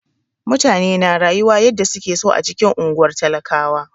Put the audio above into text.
Mutane na rayuwa yanda suke so a cikin unguwar talakawa.